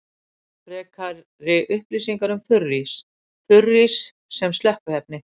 Frekari upplýsingar um þurrís: Þurrís sem slökkviefni.